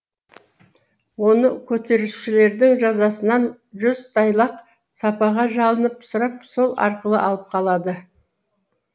оны көтерісшілердің жазасынан жүзтайлақ сапаға жалынып сұрап сол арқылы алып қалады